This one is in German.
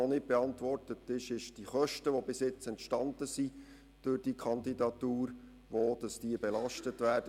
Noch nicht beantwortet ist die Frage der Kosten, die durch diese Kandidatur entstanden sind, und wo diese belastet werden.